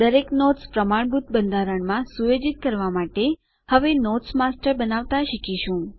દરેક નોટ્સ પ્રમાણભૂત બંધારણમાં સુયોજિત કરવા માટે હવે નોટ્સ માસ્ટર બનાવતા શીખીશું